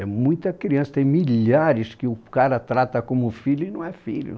É muita criança, tem milhares que o cara trata como filho e não é filho.